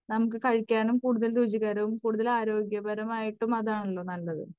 നമുക്ക് കഴിക്കാനും കൂടുതൽ രുചികരവും കൂടുതൽ ആരോഗ്യപരമായിട്ടും അതാണല്ലോ നല്ലത്.